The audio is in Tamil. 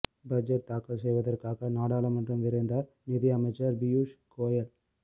பட்ஜெட் தாக்கல் செய்வதற்காக நாடாளுமன்றம் விரைந்தார் நிதி அமைச்சர் பியூஷ் கோயல்